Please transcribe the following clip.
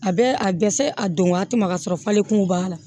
A bɛ a dɛsɛ a don waati ma sɔrɔ fale kun b'a la